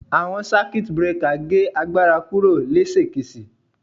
Awọn Circuit breaker ge agbara kuro lesekese